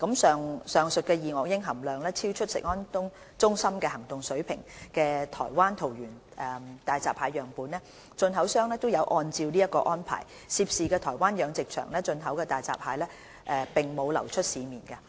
上述二噁英含量超出食安中心行動水平的台灣桃園大閘蟹樣本，進口商有按照這項安排，涉事台灣養殖場進口的大閘蟹並無流出市面。